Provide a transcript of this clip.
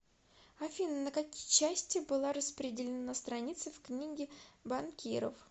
афина на какие части была распределена страница в книге банкиров